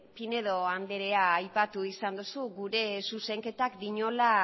pinedo andrea aipatu izan duzu gure zuzenketak diola